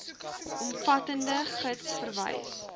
omvattende gids verwys